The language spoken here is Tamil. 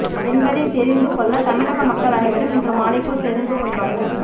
என்பதை தெரிந்து கொள்ள தமிழக மக்கள் அனைவரும் இன்று மாலைக்குள் தெரிந்து கொள்வார்கள்